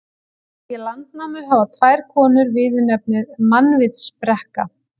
Í Landnámu hafa tvær konur viðurnefnið mannvitsbrekka.